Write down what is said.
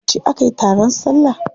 Yauce aka yi taron salla?